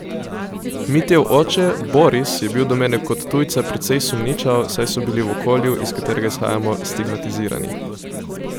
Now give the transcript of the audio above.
Mitjev oče, Boris, je bil do mene kot tujca precej sumničav, saj so bili v okolju, iz katerega izhajamo, stigmatizirani.